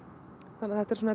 þannig þetta er